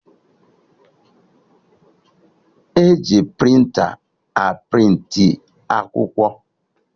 E ji prịnta a prịntị akwụkwọ